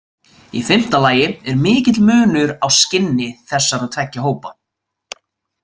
Í fimmta lagi er mikill munur á skinni þessara tveggja hópa.